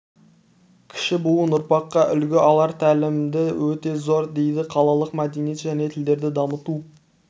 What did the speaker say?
кіші буын ұрпаққа үлгі алар тәлімі де өте зор дейді қалалық мәдениет және тілдерді дамыту